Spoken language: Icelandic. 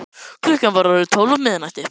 Klukkan var orðin tólf á miðnætti.